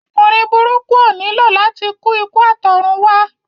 Ọkùnrin burúkú ó nílò láti kú ikú àtọ̀runwá